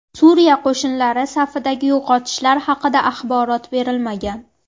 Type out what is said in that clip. Suriya qo‘shinlari safidagi yo‘qotishlar haqida axborot berilmagan.